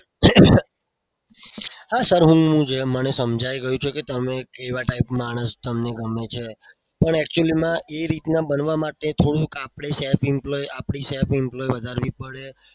હા sir મને સમજાઈ ગયું છે કે તમે કેવા type માણસ તમને ગમે છે. પણ actually માં એ રીતના બનવા માટે થોડુંક આપણે self employee વધારવી પડે.